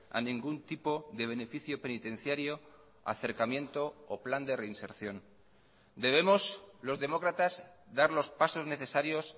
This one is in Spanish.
a ningún tipo de beneficio penitenciario acercamiento o plan de reinserción debemos los demócratas dar los pasos necesarios